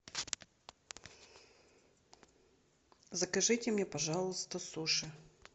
закажите мне пожалуйста суши